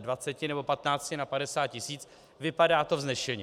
20 nebo 15 na 50 tisíc, vypadá to vznešeně.